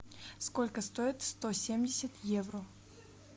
сколько стоит сто семьдесят евро